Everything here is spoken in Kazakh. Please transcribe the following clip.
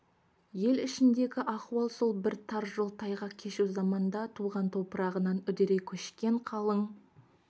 ел ішіндегі ахуал сол бір тар жол тайғақ кешу заманда туған топырағынан үдере көшкен қалың